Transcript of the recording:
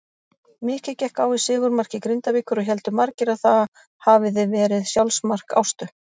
Mikið gekk á í sigurmarki Grindavíkur og héldu margir að það hafiði verið sjálfsmark Ástu.